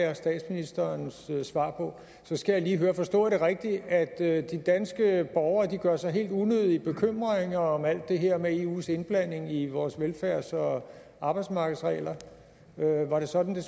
jeg statsministerens svar på så skal jeg lige høre forstod jeg det rigtigt at de danske borgere gør sig helt unødige bekymringer om alt det her med eus indblanding i vores velfærds og arbejdsmarkedsregler var det sådan